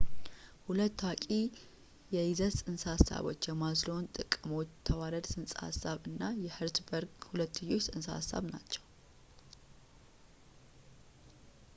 ሁለት ታዋቂ የይዘት ፅንሰ ሐሳቦች የማዝሎው የጥቅሞች ተዋረድ ፅንሰ ሐሳብ እና የኸርዝበርግ ሁለትዮሽ ፅንሰ ሐሳብ ናቸው